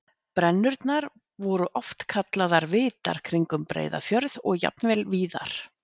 Brennurnar voru oft kallaðar vitar kringum Breiðafjörð og jafnvel víðar.